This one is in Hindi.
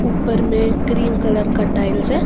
ऊपर में क्रीम कलर का टाइल्स है।